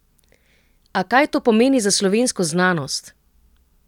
A kaj to pomeni za slovensko znanost?